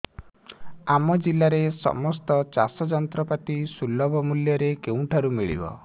ଆମ ଜିଲ୍ଲାରେ ସମସ୍ତ ଚାଷ ଯନ୍ତ୍ରପାତି ସୁଲଭ ମୁଲ୍ଯରେ କେଉଁଠାରୁ ମିଳିବ